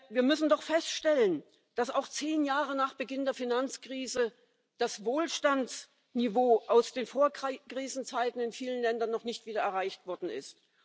Wir müssen doch feststellen, dass auch zehn Jahre nach Beginn der Finanzkrise das Wohlstandsniveau aus den Vorkrisenzeiten in vielen Ländern noch nicht wieder erreicht worden ist.